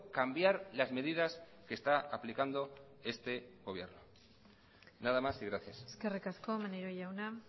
cambiar las medidas que está aplicando este gobierno nada más y gracias eskerrik asko maneiro jauna